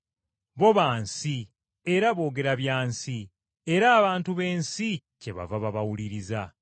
Bo ba nsi era boogera bya nsi, era abantu b’ensi kyebava babawuliriza.